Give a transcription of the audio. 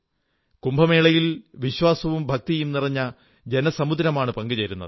കുംഭമേളയിൽ വിശ്വാസവും ഭക്തിയും നിറഞ്ഞ ജനസമുദ്രമാണ് പങ്കുചേരുന്നത്